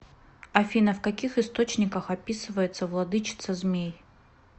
афина в каких источниках описывается владычица змей